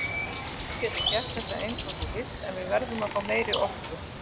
Þú getur gert þetta eins og þú vilt en við verðum að fá meiri orku.